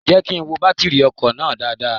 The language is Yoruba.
Jẹ́ kí n wo bátírì ọkọ̀ náà dáadáa.